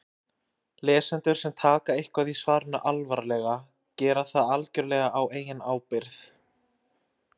Lesendur sem taka eitthvað í svarinu alvarlega gera það algjörlega á eigin ábyrgð.